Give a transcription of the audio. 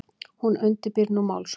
Hún undirbýr nú málsókn.